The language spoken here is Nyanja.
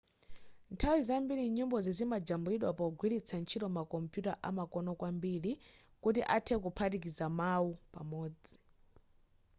nthawi zambiri nyimbozi zimajambulidwa pogwiritsa ntchito makompuyuta amakono kwambiri kuti anthe kuphatikiza mawu pamodzi